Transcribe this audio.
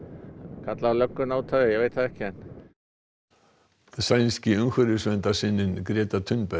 kallað á lögguna út af því ég veit það ekki sænski umhverfisverndarsinninn Greta